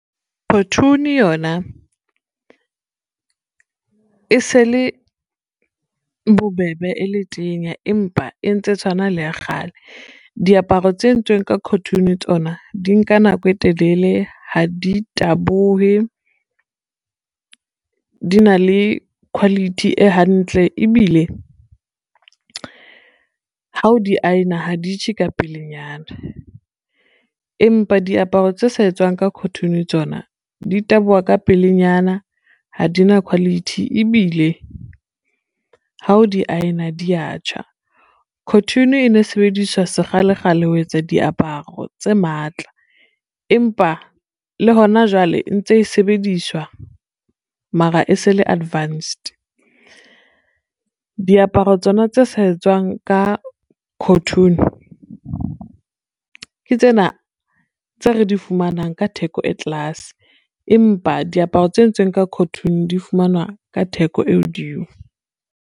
Cotoon yona e se le bobebe e le tenya empa e ntse e tshwana le ya kgale. Diaparo tse entsweng ka cotoon tsona di nka nako e telele, ha di tabohe, di na le quality e hantle, ebile ha o di aena ha di tjhe ka pelenyana. Empa diaparo tse sa etswang ka cotoon tsona di taboha ka pelenyana, ha di na quality ebile ha o di aena dia tjha. Cotoon e ne sebediswa sekgalekgale ho etsa diaparo tse matla empa le hona jwale ntse e sebediswa mara e se le advanced. Diaparo tsona tse sa etswang ka cotoon, ke tsena tse re di fumanang ka theko e tlase empa diaparo tse entsweng ka cotoon di fumanwa ka theko e hodimo.